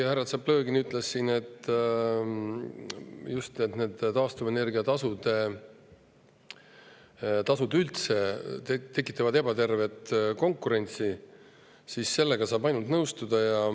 Härra Tšaplõgin ütles siin, et just taastuvenergia tasud üldse tekitavad ebatervet konkurentsi, ja sellega saab ainult nõustuda.